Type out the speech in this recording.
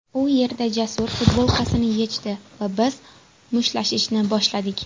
U yerda Jasur futbolkasini yechdi va biz mushtlashishni boshladik.